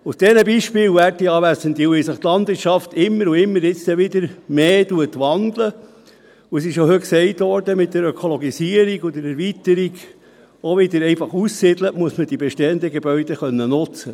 Aufgrund solcher Beispiele, werte Anwesende, und weil sich die Landwirtschaft immer und immer wieder und jetzt dann wieder mehr wandeln wird – das wurde heute ja auch mit der Ökologisierung gesagt und mit der Erweiterung, auch wieder einfach auszusiedeln –, muss man die bestehenden Gebäude nutzen können.